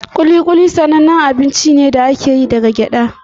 Kuli-kuli sanannen abun ciye-ciye ne da aka yi daga gyada.